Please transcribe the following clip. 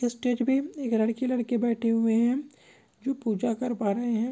स्टेज पर एक लड़का लड़की बैठे हुए हैं जो पूजा कर पा रहे हैं।